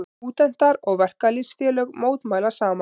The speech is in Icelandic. Stúdentar og verkalýðsfélög mótmæla saman